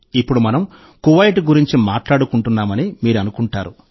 ఇప్పుడు మనం కువైట్ గురించి మాట్లాడుకుంటున్నామని మీరు అనుకుంటారు